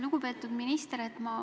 Lugupeetud minister!